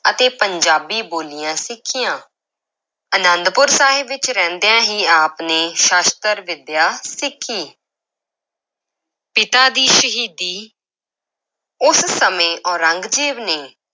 ਅਤੇ ਪੰਜਾਬੀ ਬੋਲੀਆਂ ਸਿੱਖੀਆਂ, ਅਨੰਦਪੁਰ ਸਾਹਿਬ ਵਿੱਚ ਰਹਿੰਦਿਆਂ ਹੀ ਆਪ ਨੇ ਸ਼ਸਤਰ ਵਿੱਦਿਆ ਸਿੱਖੀ ਪਿਤਾ ਦੀ ਸ਼ਹੀਦੀ ਉਸ ਸਮੇਂ ਔਰੰਗਜ਼ੇਬ ਨੇ